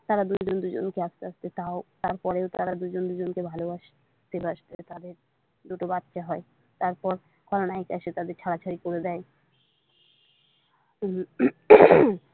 তারা দুজন দুজনকে আস্তে আস্তে তাও তারপরেও তারা তারা দুজন দুজনকে ভালোবাসতে বাসতে তাদের দুটো বাচ্ছা হয় তারপর খলনায়িকা এসে তাদের ছাড়াছাড়ি করে দেয়।